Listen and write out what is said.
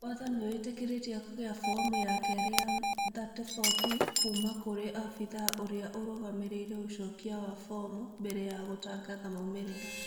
Watho nĩwĩtĩrĩtie kũgĩa fomu ya kerĩ 34B kuuma kũrĩ obithaa ũrĩa ũrũgamĩrĩire ũcokia wa fomu mbere ya gũtangatha maũmĩrĩra